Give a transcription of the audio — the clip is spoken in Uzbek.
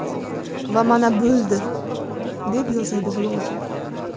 Va mana, bo‘ldi…”, deb yozadi bloger.